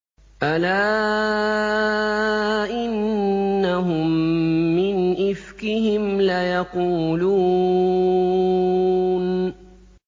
أَلَا إِنَّهُم مِّنْ إِفْكِهِمْ لَيَقُولُونَ